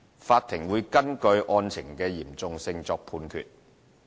法庭會根據案情的嚴重性作判決。